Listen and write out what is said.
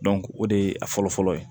o de ye a fɔlɔ fɔlɔ ye